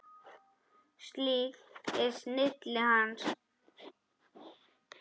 Slík er snilli hans.